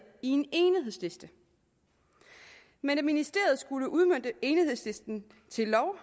i en enighedsliste men da ministeriet skulle udmønte enighedslisten til lov